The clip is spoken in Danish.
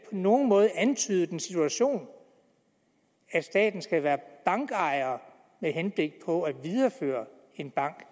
nogen måde antydet den situation at staten skal være bankejer med henblik på at videreføre en bank